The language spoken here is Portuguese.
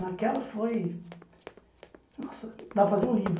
Naquela foi... Nossa, dá para fazer um livro.